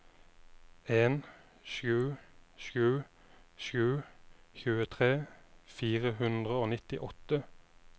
en sju sju sju tjuetre fire hundre og nittiåtte